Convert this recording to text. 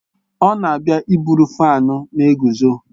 Ọ na-abịa iburu fáan na-eguzo